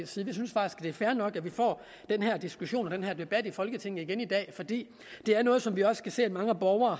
er fair nok at vi får den her diskussion og den her debat i folketinget igen i dag for det er noget som vi også kan se mange borgere